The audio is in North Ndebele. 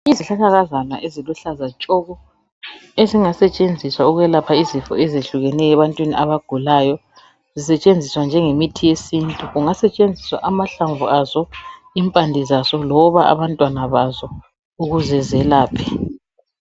Izihlahlakazana eziluhlaza tshoko, ezingasetshenziswa ukwelapha izifo ezehlukeneyo ebantwini abagulayo. Zisetshenziswa njengemithi yesintu, kungasetshenziswa amahlamvu zazo impande zazo loba abantwana bazo ukuze zelaphe.